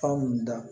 Fura mun da